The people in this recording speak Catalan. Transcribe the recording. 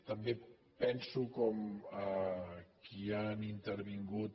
també penso com qui ha intervingut